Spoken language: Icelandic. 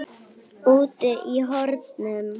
Úti í hornum.